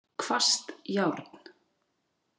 Hvasst járn.